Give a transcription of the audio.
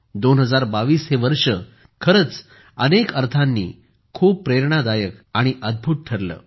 2022 हे वर्ष खरेच अनेक अर्थांनी खूप प्रेरणादायक आणि अद्भुत ठरले